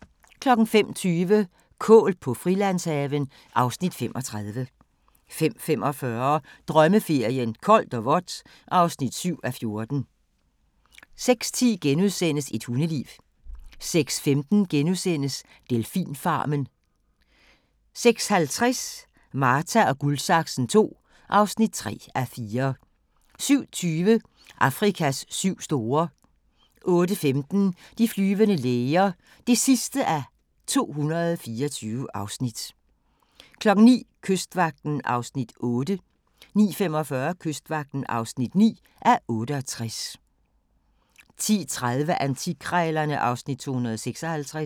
05:20: Kål på Frilandshaven (Afs. 35) 05:45: Drømmeferien: Koldt og vådt (7:14) 06:10: Et hundeliv * 06:15: Delfinfarmen * 06:50: Marta & Guldsaksen II (3:4) 07:20: Afrikas syv store 08:15: De flyvende læger (224:224) 09:00: Kystvagten (8:68) 09:45: Kystvagten (9:68) 10:30: Antikkrejlerne (Afs. 256)